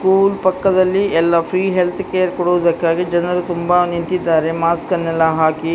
school ಪಕ್ಕದಲ್ಲಿ ಎಲ್ಲ free health care ಕೊಡೋದಕ್ಕಾಗಿ ಜನರು ತುಂಬಾ ನಿಂತಿದ್ದಾರೆ ಮಾಸ್ಕನ್ನೆಲ್ಲ ಹಾಕಿ --